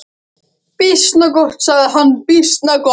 Býsna gott, sagði hann, býsna gott.